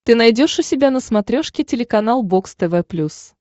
ты найдешь у себя на смотрешке телеканал бокс тв плюс